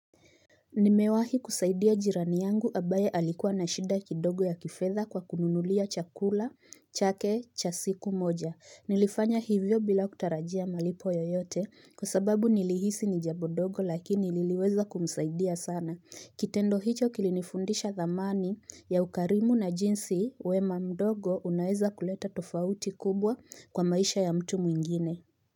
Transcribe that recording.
Nimewahi kusaidia jirani yangu ambaye alikuwa na shida kidogo ya kifedha kwa kununulia chakula, chake, cha siku moja. Nilifanya hivyo bila kutarajia malipo yoyote kwa sababu nilihisi ni jambo dogo lakini liliweza kumsaidia sana. Kitendo hicho kilinifundisha dhamani ya ukarimu na jinsi wema mdogo unaeza kuleta tofauti kubwa kwa maisha ya mtu mwingine.